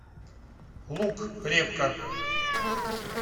лук репка